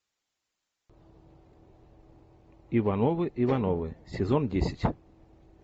ивановы ивановы сезон десять